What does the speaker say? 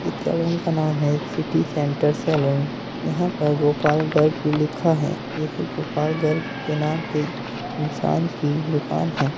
ये सैलून का नाम है सिटी सेंटर सैलून यहाँ पर गोपाल गंज भी लिखा है | यही गोपालगंज के नाम इंसान की दुकान है।